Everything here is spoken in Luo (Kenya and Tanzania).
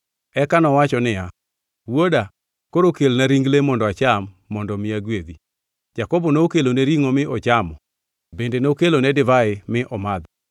Eka nowacho niya, “Wuoda, koro kelna ring le mondo acham, mondo mi agwedhi.” Jakobo nokelone ringʼo mi ochamo bende nokelone divai mi omadho.